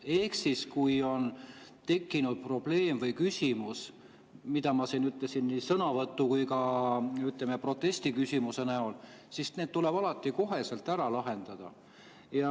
Ehk siis, kui on tekkinud probleem või küsimus, nagu ma siin ütlesin, nii sõnavõtu kui ka, ütleme, protestiküsimuse näol, siis need tuleb alati kohe ära lahendada.